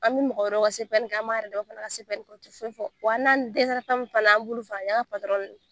An bɛ mɔgɔ wɛrɛw ka CPN an b'a yɛrɛ dama fana ka CPN kɛ u tɛ fɛn fɔ wa n'an dɛsɛra fɛn min fana na an b'ulu an ka .